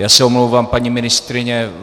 Já se omlouvám, paní ministryně.